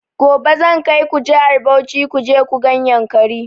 Gobe zan kaiku jihar Bauchi kuje ku gan yankari